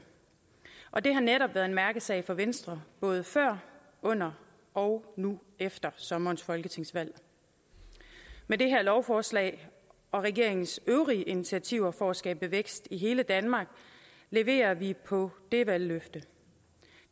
og det har netop været en mærkesag for venstre både før under og nu efter sommerens folketingsvalg med det her lovforslag og regeringens øvrige initiativer for at skabe vækst i hele danmark leverer vi på det valgløfte